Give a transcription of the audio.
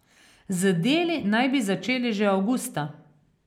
Z deli naj bi začeli že avgusta.